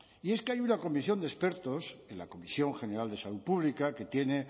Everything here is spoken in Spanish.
y es que hay una comisión de expertos en la comisión general de salud pública que tiene